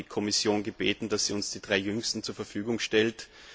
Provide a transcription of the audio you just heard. Wir haben die Kommission gebeten, uns die drei jüngsten zur Verfügung zu stellen.